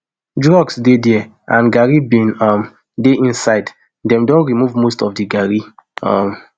drugs dey dia and garri bin um dey inside dem don remove most of di garri um